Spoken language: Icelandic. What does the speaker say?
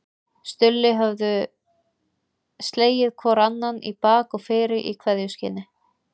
Stulli höfðu slegið hvor annan í bak og fyrir í kveðjuskyni.